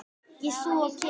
Ég, þú og kisi.